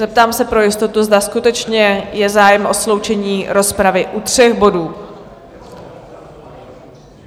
Zeptám se pro jistotu, zda skutečně je zájem o sloučení rozpravy u tří bodů?